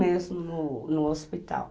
mesmo no no hospital.